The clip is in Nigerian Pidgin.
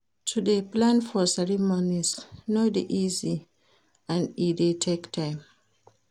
To de plan for cereomonies no de easy and e de take time